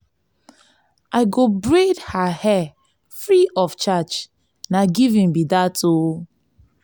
i go braid her hair free of charge na giving be dat o.